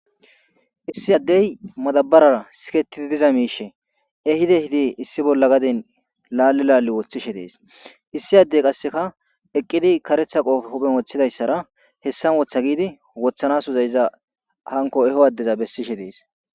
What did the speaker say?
Issi addey madabarara siketidi diza miishe ehide hidi issi bolla gaden laalle laale woththishe dees issi addey qasseka eqqidi karetha qoofe huphe woththidayssara hessan wootha giidi wothanas uza iza hanko eho addeza bessishe dees.